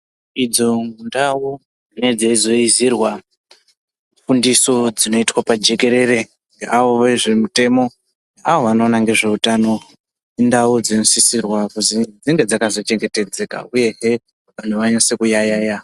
Idzo ndau dzinenge dzeizoizirwa fundiso dzinoitwa pajekerere ngeavo vezvemutemo aa vanoona ngezveutano indau dzinosisirwa kuzi dzinge dzakachengetedzeka uyehe vantu vanase kuyaiya